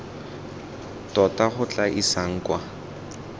tota go tla isang kwa